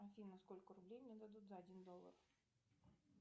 афина сколько рублей мне дадут за один доллар